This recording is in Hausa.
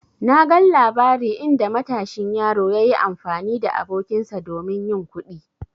Na gan labari inda matashin yaro yayi amfani da abokinsa domin yin kuɗi.